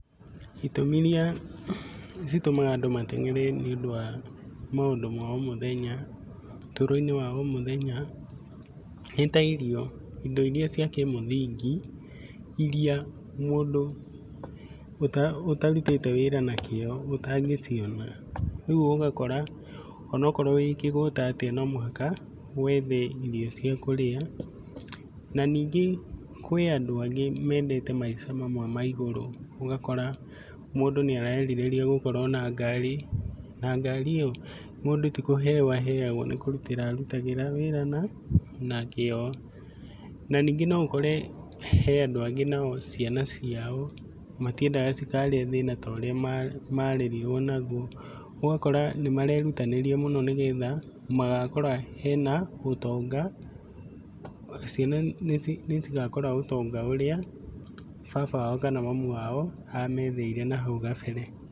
Itũmi iria citũmaga andũ matengere nĩũndũ wa maũndũ ma omũthenya, ũtũũro-inĩ wa omũthenya nĩta irio, indo iria cia kĩmũthingi iria mũ ũtarutĩte wĩra nakĩo ũtangĩciona rĩu ũgakora onokorwo wĩkĩgũta atĩa no mũhaka wethe irio ciakũrĩa. Na ningĩ kwĩ andũ amwe mendete maica mamwe ma igũrũ, ũgakora mũndũ nĩarerirĩriagũ korwo na ngari. Na ngari io mũndũ tikũheo aheagwo, mũndũ nĩkũrutĩra wĩra arutagĩra wĩra nakĩo. Na nyingĩ noũkore he andũ angĩ nao ciana ciao matienaga cikarĩa thĩna toũrĩa marerirwo naguo. ũgakora nĩmarerutanĩria mũno nĩgetha magakora hena ũtonga ciana nĩcigakora ũtonga ũrĩa baba wao kana mami wao ametheire nahau gabere.